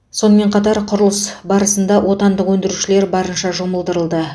сонымен қатар құрылыс барысында отандық өндірушілер барынша жұмылдырылды